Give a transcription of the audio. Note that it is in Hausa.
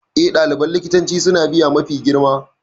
E, ɗaliban likitanci suna biya mafi girma.